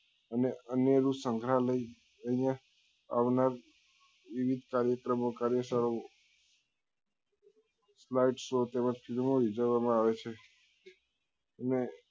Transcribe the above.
અને સંગ્રાલય અહિયાં આવનાર વિવિધ કાર્યકર્મો કરી ઉજવવા માં આવે છે અને